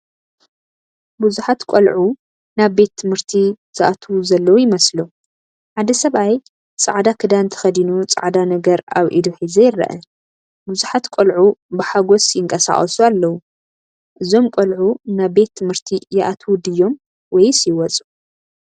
ብዙሓት ቆልዑ ናብቲ ቤት ትምህርቲ ዝኣትዉ ዘለዉ ይመስሉ። ሓደ ሰብኣይ ጻዕዳ ክዳን ተኸዲኑ ጻዕዳ ነገር ኣብ ኢዱ ሒዙ ይርአ። ብዙሓት ቆልዑ ብሓጎስ ይንቀሳቐሱ ኣለዉ። እዞም ቆልዑ ናብ ቤት ትምህርቲ ይኣትዉ ድዮም ወይስ ይወጹ?